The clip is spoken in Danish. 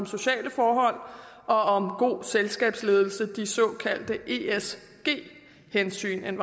sociale forhold og om god selskabsledelse de såkaldte esg hensyn